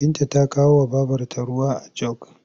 Binta ta kawowa babrta ruwa a jog.